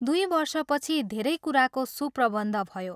दुइ वर्षपछि धेरै कुराको सुप्रबन्ध भयो।